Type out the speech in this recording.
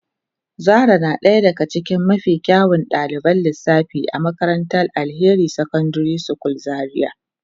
Zara na daya daga cikin mafi kyawun daliban lissafi a makarantar Alheri secondary school Zaria.